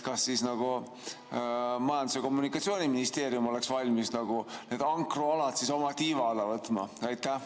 Kas siis Majandus‑ ja Kommunikatsiooniministeerium oleks valmis need ankrualad oma tiiva alla võtma?